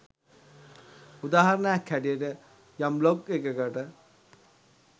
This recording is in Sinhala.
උදාහරණයක් හැටියට යම් බ්ලොග් එකකට